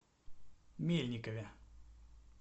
мельникове